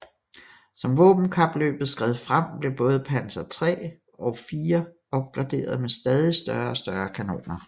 Som våbenkapløbet skred frem blev både Panzer III og IV opgraderet med stadig større og større kanoner